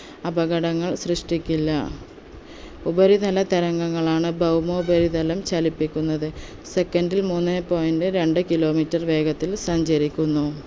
അപകടങ്ങൾ സൃഷ്ടിക്കില്ല ഉപരിതല തരംഗങ്ങളാണ് ബൗമോപരിതലം ചലിപ്പിക്കുന്നത് second ൽ മൂന്നേ point രണ്ട് kilometre വേഗത്തിൽ സഞ്ചരിക്കുന്നു